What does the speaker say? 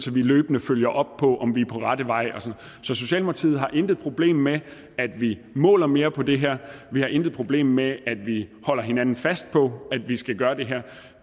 vi løbende følger op på om vi er på rette vej så socialdemokratiet har intet problem med at vi måler mere på det her vi har intet problem med at vi holder hinanden fast på at vi skal gøre det her